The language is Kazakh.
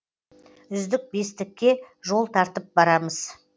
үздік бестікке жол тартып барамыз